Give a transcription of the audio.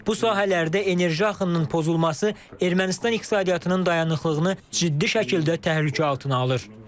Bu sahələrdə enerji axınının pozulması Ermənistan iqtisadiyyatının dayanıqlığını ciddi şəkildə təhlükə altına alır.